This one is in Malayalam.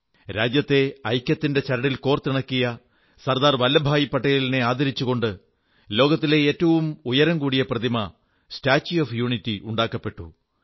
രാജ്യത്തെ ഐക്യത്തിന്റെ ചരടിൽ കോർത്തിണക്കിയ സർദാർ വല്ലഭഭായി പട്ടേലിനെ ആദരിച്ചുകൊണ്ട് ലോകത്തിലെ ഏറ്റവും ഉയരംകൂടിയ പ്രതിമ സ്റ്റാച്യു ഓഫ് യൂണിറ്റി നിർമ്മിച്ചു